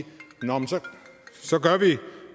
så gør vi